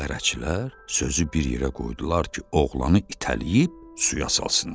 Bərəçilər sözü bir yerə qoydular ki, oğlanı itələyib suya salsınlar.